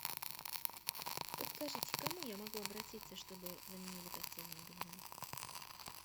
подскажите к кому я могу обратиться чтобы заменили постельное белье